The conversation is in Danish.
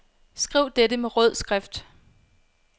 Skriv dette med rød skrift.